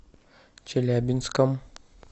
челябинском